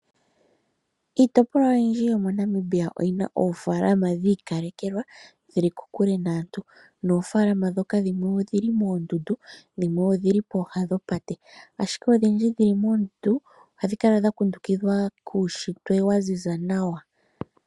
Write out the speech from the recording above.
Iitopolwa oyindji yomoNamibia oyi na oofaalama dhi ikalekelwa, dhi li kokule naantu. Noofaalama ndhoka dhimwe odhi li moondundu dhimwe odhi li pooha dhopate. Ashike odhindji dhi li moondundu ohadhi kala dha kundukidhwa kuushitwe wa ziza nawa.